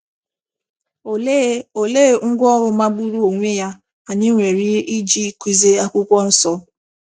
Olee Olee ngwá ọrụ magburu onwe ya anyị nwere iji kụzie akwụkwọ nsọ?